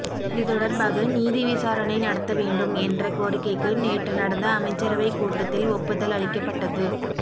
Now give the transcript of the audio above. இது தொடர்பாக நீதி விசாரணை நடத்த வேண்டும் என்ற கோரிக்கைக்கு நேற்று நடந்த அமைச்சரவை கூட்டத்தில் ஒப்புதல் அளிக்கப்பட்டது